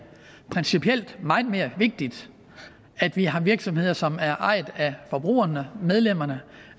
principielt meget mere vigtigt at vi har virksomheder som er ejet af forbrugerne medlemmerne